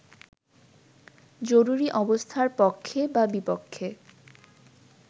জরুরি অবস্থার পক্ষে বা বিপক্ষে